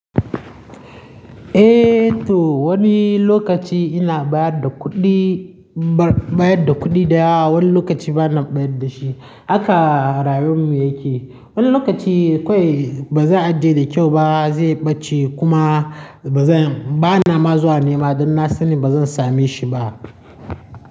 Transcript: Eh to wani lokaci ina bayar da kuɗi, bayar da kuɗi daya, wani lokaci bana bayar da shi. Haka rayuwar mu yake. Wani lokaci kawai ba zai ajiye da kyau ba, zai ɓace kuma ba na ma zuwa nema don na sani ba zan same shi ba.